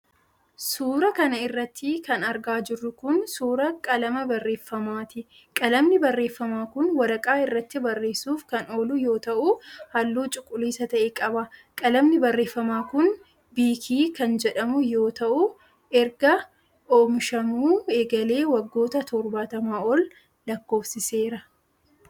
Suura kana irratti kan argaa jirru kun ,suura qalama barreeffamaati. Qalamni barreeffamaa kun waraqaa irratti barreessuuf kan oolu yoo ta'u, haalluu cuquliisa ta'e qaba. Qalamni barreeffamaa kun Biikii kan jedhamu yoo ta'u ,erga oomishamuu eegalee waggoota torbaatamaa ol lakkoofsiseera.